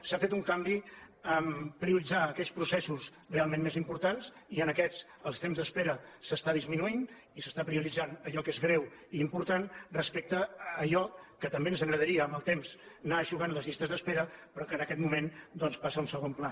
s’ha fet un canvi a prioritzar aquells processos realment més importants i en aquests el temps d’espera s’està disminuït i s’està prioritzant allò que és greu i important respecte a allò que també ens agradaria amb el temps anar eixugant les llistes d’espera però que en aquest moment doncs passa a un segon pla